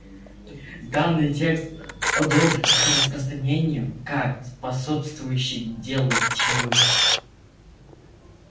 данный текст одобрен к распространению как способствующий делу тьмы